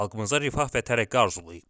Xalqımıza rifah və tərəqqi arzulayıb.